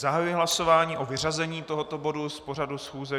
Zahajuji hlasování o vyřazení tohoto bodu z pořadu schůze.